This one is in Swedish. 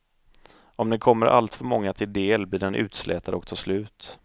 Om den kommer alltför många till del blir den utslätad och tar slut.